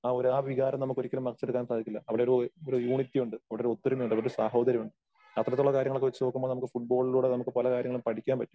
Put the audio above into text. ആ ഒരു ആ വികാരം നമുക്ക് ഒരിക്കലും മറച്ചെടുക്കാൻ സാധിക്കില്ല. അവിടെ ഒരു ഒരു യൂണിറ്റി ഉണ്ട്. അവിടെ ഒരു ഒത്തുരുമ ഉണ്ട്. അവിടെ ഒരു സാഹോദര്യം ഉണ്ട്. അത്തരത്തിലുള്ള കാര്യങ്ങളൊക്കെ വച്ചുനോക്കുമ്പോൾ നമുക്ക് ഫുട്‍ബോളിലൂടെ നമുക്ക് പല കാര്യങ്ങളും പഠിക്കാൻ പറ്റും.